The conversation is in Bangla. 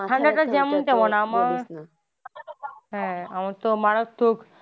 ঠান্ডা টা যেমন তেমন আমার হ্যা আমারতো মারাত্মক।